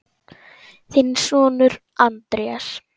Þinn sonur, Andrés.